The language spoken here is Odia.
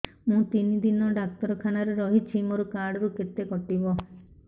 ମୁଁ ତିନି ଦିନ ଡାକ୍ତର ଖାନାରେ ରହିଛି ମୋର କାର୍ଡ ରୁ କେତେ କଟିବ